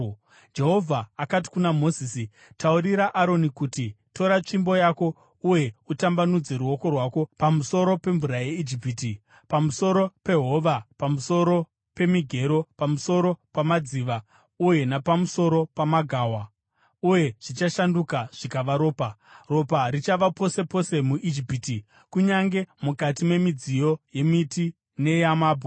Jehovha akati kuna Mozisi, “Taurira Aroni uti, ‘Tora tsvimbo yako uye utambanudze ruoko rwako pamusoro pemvura yeIjipiti, pamusoro pehova pamusoro pemigero, pamusoro pamadziva uye napamusoro pamagawa,’ uye zvichashanduka zvikava ropa. Ropa richava pose pose muIjipiti, kunyange mukati memidziyo yemiti neyamabwe.”